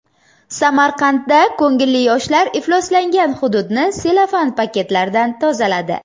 Samarqandda ko‘ngilli yoshlar ifloslangan hududni sellofan paketlardan tozaladi.